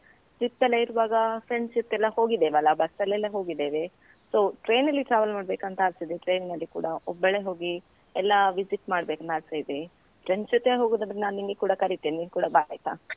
trip ಎಲ್ಲ ಇರುವಾಗ friends ಜೊತೆ ಎಲ್ಲ ಹೋಗಿದ್ದೇವಲ್ಲ, bus ಎಲ್ಲೆಲ್ಲ ಹೋಗಿದ್ದೇವೆ. so train ನಲ್ಲಿ travel ಮಾಡ್ಬೇಕಂತ ಆಸೆ ಇದೆ, train ಅಲ್ಲಿ ಕೂಡ ಒಬ್ಬಳೇ ಹೋಗಿ ಎಲ್ಲಾ visit ಮಾಡ್ಬೇಕಂತ ಆಸೆ ಇದೆ, friends ಜೊತೆ ಹೋಗೂದಾದ್ರೆ ನಾನು ನಿನ್ಗೆ ಕೂಡ ಕರಿತೆನೆ, ನೀನ್ ಕೂಡ ಬಾ ಆಯ್ತಾ.